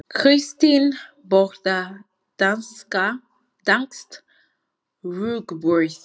Kristín borðar danskt rúgbrauð.